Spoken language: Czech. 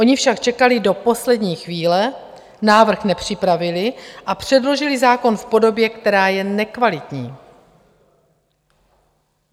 Oni však čekali do poslední chvíle, návrh nepřipravili a předložili zákon v podobě, která je nekvalitní.